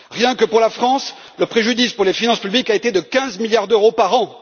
Rien que pour la France, le préjudice pour les finances publiques a été de 15 milliards d'euros par an.